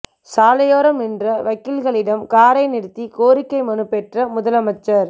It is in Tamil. சாலையோரம் நின்ற வக்கீல்களிடம் காரை நிறுத்தி கோரிக்கை மனு பெற்ற முதலமைச்சர்